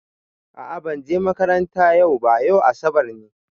A'a ban je makaranta yau ba, yau asabar ne.